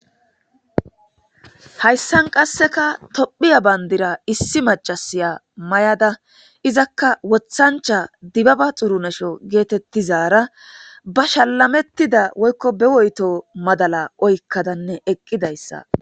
hayssan qassekka tophphiya bandirra issi macasiya may'adda izakka woththancha dibabba xurunasho geetettizara ba shalamettida woykko be woytto madala oykkadanne eqqidayssa